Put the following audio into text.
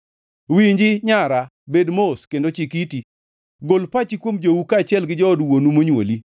Winji nyara, bed mos, kendo chik iti: Gol pachi kuom jou kaachiel gi jood wuonu monywoli.